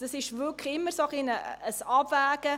Das ist wirklich immer ein wenig ein Abwägen: